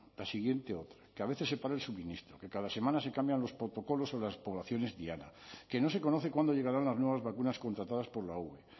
la siguiente otra que a veces se para el suministro que cada semana se cambian los protocolos o las poblaciones diana que no se conoce cuándo llegarán las nuevas vacunas contratadas por la ue